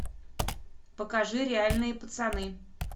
покажи реальные пацаны